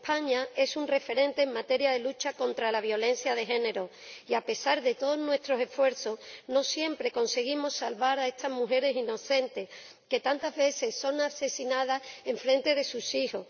España es un referente en materia de lucha contra la violencia de género y, a pesar de todos nuestros esfuerzos, no siempre conseguimos salvar a estas mujeres inocentes que tantas veces son asesinadas enfrente de sus hijos.